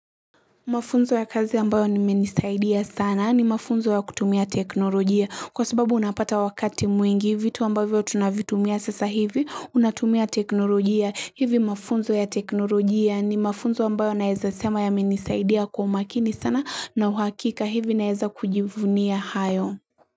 Mafunzo ya kazi ambayo nimenisaidia sana ni mafunzo ya kutumia teknolojia. Kwa sababu unapata wakati mwingi vitu ambavyo tunavitumia sasa hivi, unatumia teknolojia. Hivi mafunzo ya teknolojia ni mafunzo ambayo naeza sema ya menisaidia kwa makini sana na uhakika hivi naeza kujivunia hayo.